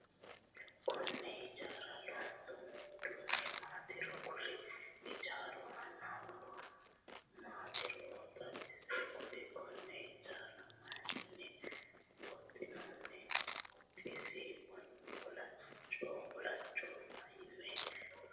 Konne hijaaro loonsoonni uduune maatiro kuli? Hijaaru aanna horo maatiro xawise kuli? Konne hijaara mayinni huxinoonni? Huxisi waalcho mayinni loonsoonni?